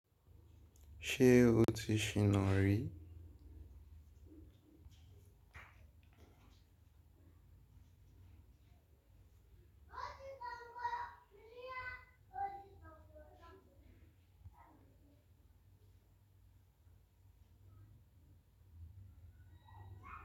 Ṣé o ti ṣìnà rí?